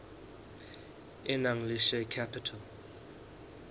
e nang le share capital